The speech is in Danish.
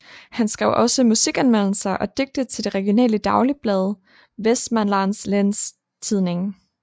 Han skrev også musikanmeldelser og digte til det regionale daglige blad Vestmanlans Läns Tidning